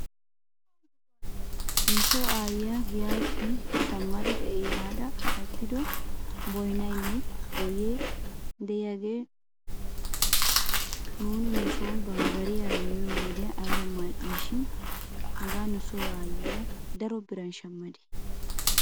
Nuso aayyiyaa giyaappe shamma ehada kattido boynaynne boyee de'iyaagee nuuni nuson bambbariyaara miyoo wodiyan ayba mal'ii shin hegaa nuso aayyiyaa daro biran shamadee?